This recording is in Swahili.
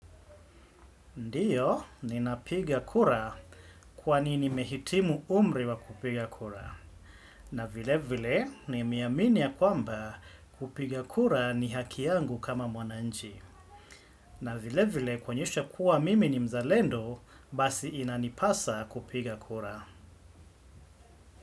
Ndiyo, ninapiga kura kwani nimehitimu umri wa kupiga kura. Na vile vile, nimeamini ya kwamba kupiga kura ni haki yangu kama mwananchi. Na vile vile, kuonyesha kuwa mimi ni mzalendo, basi inanipasa kupiga kura.